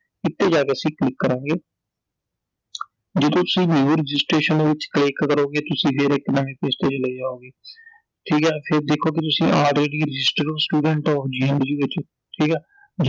ਇਹ ਤੇ ਜਾਕੇ ਅਸੀਂ ਕਲਿਕ ਕਰਾਂਗੇ I ਜੇ ਤਾਂ ਤੁਸੀਂ new registration ਦੇ ਵਿਚ click ਕਰੋਗੇ ਤੁਸੀਂ ਫੇਰ ਇੱਕ ਨਵੇਂ page ਤੇ ਚਲੇ ਜਾਓਗੇ I ਠੀਕ ਐ I ਫੇਰ ਦੇਖੋਗੇ ਤੁਸੀਂ ਅਜੇਗੀ register student ofGNDU ਵਿਚ I ਠੀਕ ਐ